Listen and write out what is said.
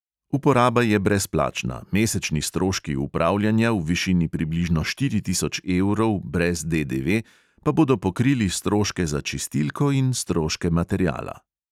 Uporaba je brezplačna, mesečni stroški upravljanja v višini približno štiri tisoč evrov brez DDV pa bodo pokrili stroške za čistilko in stroške materiala.